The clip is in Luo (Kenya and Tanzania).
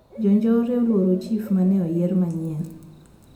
Jo njore oluoro chif mane oyier manyien